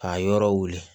K'a yɔrɔ wuli